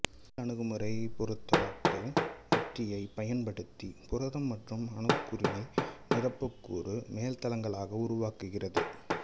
முதல் அணுகுமுறை பொருத்தப்பாட்டு உத்தியை பயன்படுத்தி புரதம் மற்றும் அணுக்கூறினை நிரப்புக்கூறு மேல்தளங்களாக உருவாக்குகிறது